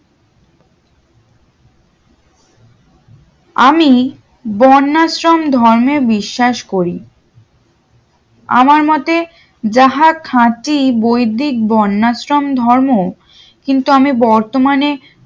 আমি বর্নাসশ্রম ধর্মে বিশ্বাস করি আমার মোতে যাহা খাঁটি বৈদিক বোনাসশ্রম ধর্ম কিন্তু আমি বর্তমানে